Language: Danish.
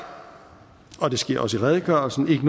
og det sker også i redegørelsen ikke